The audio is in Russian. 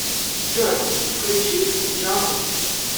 джой включи джони